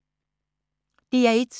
DR1